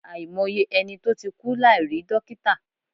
Àìmọye ẹni tó ti kú láì rí dọ́kítà.